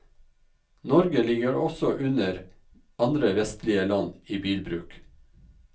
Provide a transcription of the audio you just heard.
Norge ligger også under andre vestlige land i bilbruk.